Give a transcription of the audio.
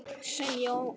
Sem ég á í þér.